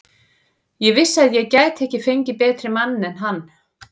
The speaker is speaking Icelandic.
Ég vissi að ég gæti ekki fengið betri mann en hann.